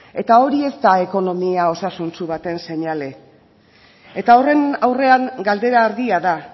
eta hori ez da ekonomia osasuntsu baten seinale eta horren aurrean galdera argia da